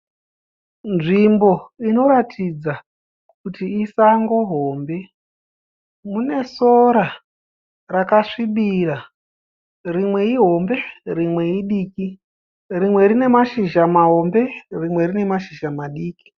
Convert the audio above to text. Nzvimbo inoratidza kuti isango hombe. Mune sora rakasvibira. Rimwe ihombe rimwe idiki. Rimwe rina mashizha mahombe rimwe rine mashizha madiki.